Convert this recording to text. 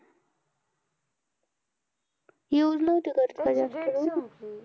Use नव्हती करत का जास्त तू?